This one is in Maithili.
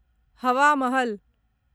हवा महल